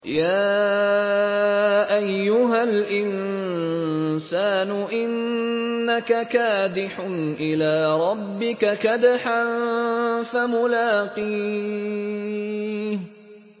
يَا أَيُّهَا الْإِنسَانُ إِنَّكَ كَادِحٌ إِلَىٰ رَبِّكَ كَدْحًا فَمُلَاقِيهِ